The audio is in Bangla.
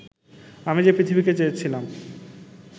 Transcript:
আমি যে পৃথিবীকে চেয়েছিলাম